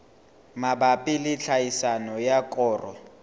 mabapi le tlhahiso ya koro